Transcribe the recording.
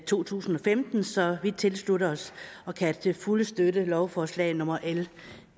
to tusind og femten så vi tilslutte os og kan til fulde støtte lovforslag nummer l